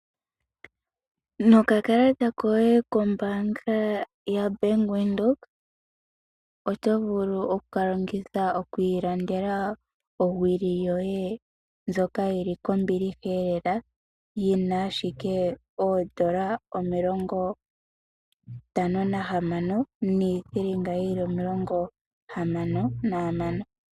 Noka kalata koye kombaanga ya Bank Windhoek. Oto vulu okukalongitha oku ilandela owili yoye kombiliha lela yina ashike oodola dha Namibia omilongo ntano nahamano niithilinga omilongo hamano nahamano.